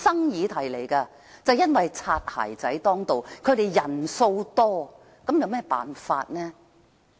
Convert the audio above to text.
因為"擦鞋仔"當道，他們人數眾多，那又有甚麼辦法呢？